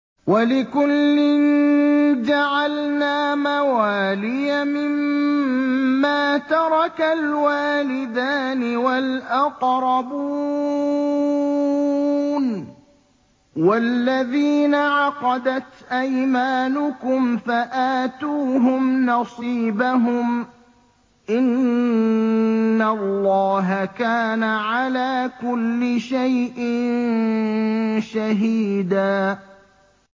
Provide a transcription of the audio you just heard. وَلِكُلٍّ جَعَلْنَا مَوَالِيَ مِمَّا تَرَكَ الْوَالِدَانِ وَالْأَقْرَبُونَ ۚ وَالَّذِينَ عَقَدَتْ أَيْمَانُكُمْ فَآتُوهُمْ نَصِيبَهُمْ ۚ إِنَّ اللَّهَ كَانَ عَلَىٰ كُلِّ شَيْءٍ شَهِيدًا